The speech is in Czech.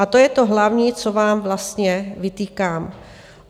A to je to hlavní, co vám vlastně vytýkám.